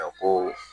ko